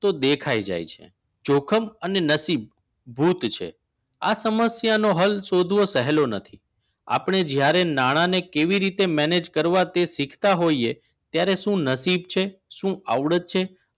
તો દેખાઈ જાય છે જોખમ અને નસીબ ભૂત છે આ સમસ્યાનો હોલ શોધવો સહેલો નથી આપને જ્યારે નાના ને કેવી રીતે મેનેજ કરવા તે તે શીખતા હોઈએ ત્યારે શું નસીબ છે શું આવડે જ છે